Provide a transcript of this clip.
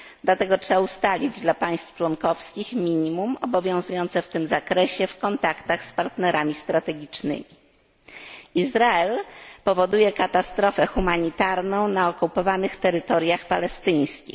Dlatego trzeba ustalić dla państw członkowskich minimum obowiązujące w tym zakresie w kontaktach z partnerami strategicznymi. Izrael doprowadza do katastrofy humanitarnej na okupowanych terytoriach palestyńskich.